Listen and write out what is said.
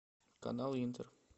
канал интер